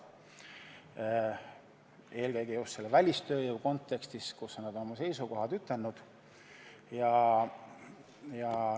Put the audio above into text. Seda eelkõige just välistööjõu kontekstis, mille kohta nad on oma seisukohad ütelnud.